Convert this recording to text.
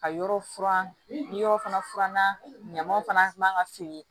Ka yɔrɔ furan ni yɔrɔ fana furanna ɲamanw fana man ka feere